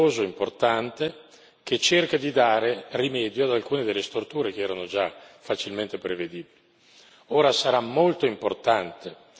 Il lavoro della collega Delvaux è un lavoro prezioso e importante, che cerca di dare rimedio ad alcune delle storture che erano già facilmente prevedibili.